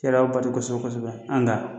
N yɛrɛ y'o bato kosɛbɛ kosɛbɛ